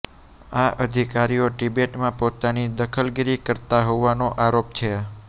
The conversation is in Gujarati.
આ અધિકારીઓ તિબેટમાં પોતાની દખલગીરી કરતા હોવાનો આરોપ છે